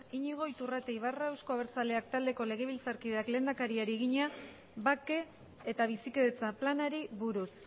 iñigo iturrate ibarra euzko abertzaleak taldeko legebiltzarkideak lehendakariari egina bake eta bizikidetza planari buruz